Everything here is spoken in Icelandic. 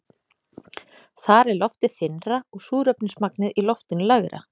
Þar er loftið þynnra og súrefnismagnið í loftinu lægra.